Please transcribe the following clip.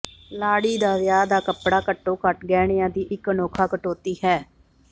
ਲਾੜੀ ਦਾ ਵਿਆਹ ਦਾ ਕੱਪੜਾ ਘੱਟੋ ਘੱਟ ਗਹਿਣਿਆਂ ਦੀ ਇਕ ਅਨੋਖਾ ਕਟੌਤੀ ਹੈ